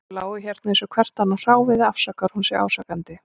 Þau lágu hérna eins og hvert annað hráviði, afsakar hún sig ásakandi.